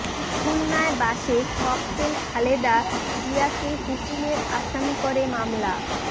খুলনায় বাসে ককটেল খালেদা জিয়াকে হুকুমের আসামি করে মামলা